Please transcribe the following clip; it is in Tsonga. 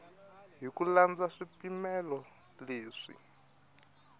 hi ku landza swipimelo leswi